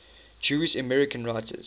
jewish american writers